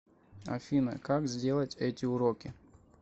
афина как сделать эти уроки